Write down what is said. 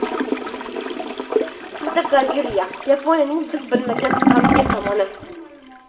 Fotogalereya: Yaponiyaning biz bilmagan g‘amgin tomoni.